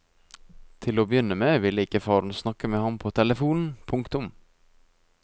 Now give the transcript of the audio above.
Til å begynne med ville ikke faren snakke med ham på telefonen. punktum